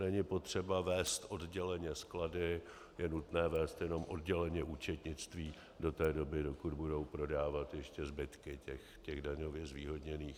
Není potřeba vést odděleně sklady, je nutné vést jenom odděleně účetnictví do té doby, dokud budou prodávat ještě zbytky těch daňově zvýhodněných.